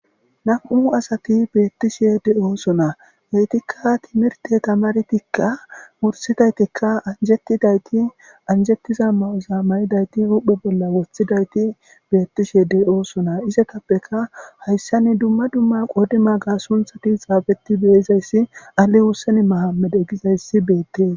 nam7u asati beettishe de7oosona beytikka timirte tamartikka mursidaytikka anjetidayti anjettiza ma7uza mayidayti uhphe bolla woththidayti beettishe de7oosona isetappeka hayssani dumma dumma qodima ga sunthati xaafetti beyizayssi ali wussen mahamede gizayssi beettees